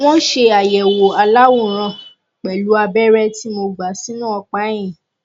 wọn ṣe àyẹwò aláwòrán pẹlú abẹrẹ tí mo gbà sínú ọpá ẹyìn